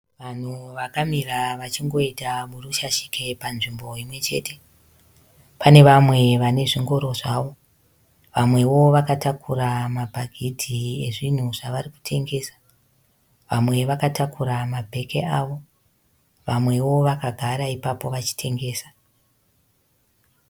Vanhu vakamira vachingoita burushashike panzvimbo imwechete. Pane vamwe vanezvingoro zvavo. Vamwewo vakatakura mabhagidhi ezvinhu zvavari kutengesa. Vamwe vakatakura mabheke avo. Vamwewo vakagara ipapo vachitengesa.